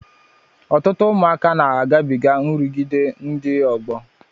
Ọtụtụ ụmụaka na agabiga nrụgide ndị ọgbọ.